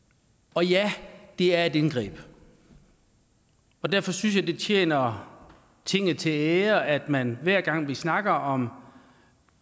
og ja det er et indgreb derfor synes jeg det tjener tinget til ære at man hver gang vi snakker om